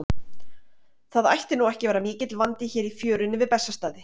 Það ætti nú ekki að vera mikill vandi hér í fjörunni við Bessastaði.